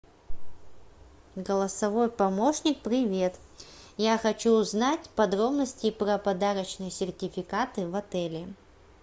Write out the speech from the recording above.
голосовой помощник привет я хочу узнать подробности про подарочные сертификаты в отеле